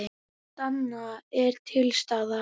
Allt annað er til staðar.